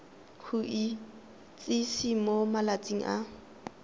go itsise mo malatsing a